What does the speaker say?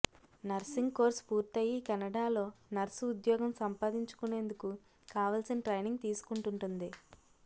nursing course పూర్తయి కెనడాలో nurse ఉద్యోగం సంపాదించుకునేందుకు కావల్సిన ట్రైనింగ్ తీసుకుంటూంటుంది